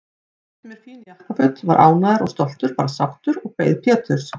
Ég keypti mér fín jakkaföt, var ánægður og stoltur, bara sáttur, og beið Péturs.